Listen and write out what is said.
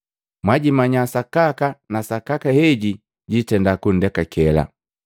Mwajimanya sakaka na sakaka heji jitenda kundekakela.”